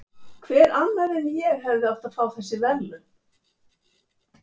Hver annar en ég hefði átt að fá þessi verðlaun?